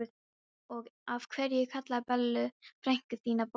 Og af hverju kallarðu Bellu frænku þína bollu?